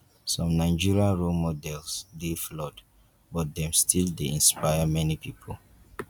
some nigerian role models dey flawed but dem still dey inspire many pipo